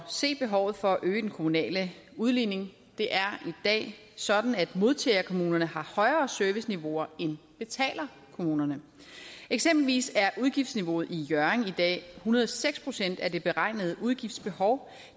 se behovet for at øge den kommunale udligning det er i dag sådan at modtagerkommunerne har højere serviceniveauer end betalerkommunerne eksempelvis er udgiftsniveauet i hjørring i dag hundrede og seks procent af det beregnede udgiftsbehov